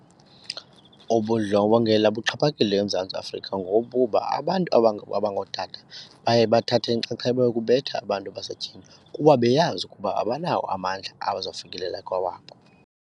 Ubundlobongela buxhaphakile eMzantsi Afrika ngokuba abantu abangootata baye bathathe inxaxheba yokubetha abantu basetyhini kuba beyazi ukuba abanawo amandla awazawufikelela kwawabo.